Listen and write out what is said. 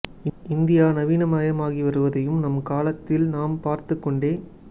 India நவீனமாகி வருவதையும் நம் காலத்தில் நாம் பார்த்துக் கொண்டே